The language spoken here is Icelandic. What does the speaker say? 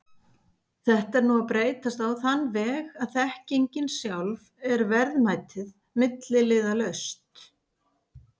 Þetta er nú að breytast á þann veg að þekkingin sjálf er verðmætið, milliliðalaust.